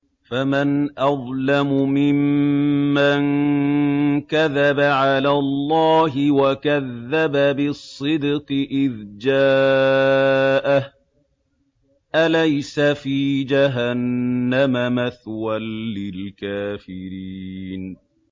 ۞ فَمَنْ أَظْلَمُ مِمَّن كَذَبَ عَلَى اللَّهِ وَكَذَّبَ بِالصِّدْقِ إِذْ جَاءَهُ ۚ أَلَيْسَ فِي جَهَنَّمَ مَثْوًى لِّلْكَافِرِينَ